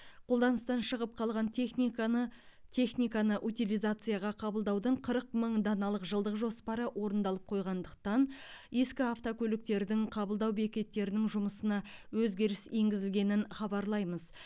қолданыстан шығып қалған техниканы техниканы утилизацияға қабылдаудың қырық мың даналық жылдық жоспары орындалып қойғандықтан ескі автокөліктердің қабылдау бекеттерінің жұмысына өзгеріс енгізілгенін хабарлаймыз